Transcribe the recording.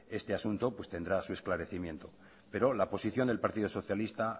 este asunto tendrá su esclarecimiento pero la posición del partido socialista